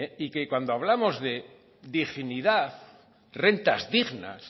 y que cuando hablamos de dignidad rentas dignas